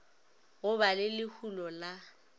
go ba le lehulo la